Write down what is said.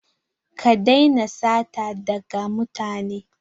Ka daina sata daga mutane!